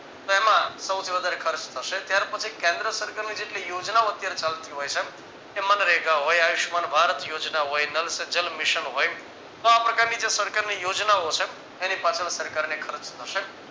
તો એમાં સૌથી વધારે ખર્ચ થશે ત્યાર પછી કેન્દ્ર સરકારને જેટલી યોજના અત્યારે ચાલતી હોય છે એ મનરેગા હોય આયુષ્યમાન ભારત યોજના હોય નળ સે જલ મિશન હોય તો આ પ્રકારની જો સરકારની યોજનાઓ છે એની પાછળ સરકારને ખર્ચ થશે